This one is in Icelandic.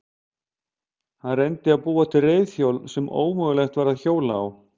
Hann reyndi að búa til reiðhjól sem ómögulegt væri að hjóla á.